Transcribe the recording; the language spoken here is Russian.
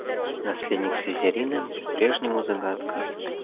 наследник слизерина по-прежнему загадка